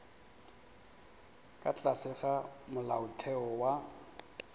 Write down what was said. ka tlase ga molaotheo wa